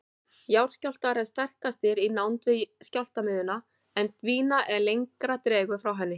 Jarðskjálftar eru sterkastir í nánd við skjálftamiðjuna en dvína er lengra dregur frá henni.